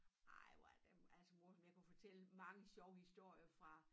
Ej hvor er det altså morsomt jeg kunne fortælle mange sjove historier fra